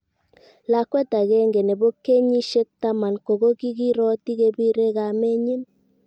lakwet agenge nebo kenyisiekk taman ko ko kiiroti kebirei kamenyin